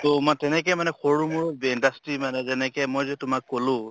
তʼ মই তেনেকে মানে সৰু মৰু ৱে industry মানে যেনেকে মই যে তোমাক কলো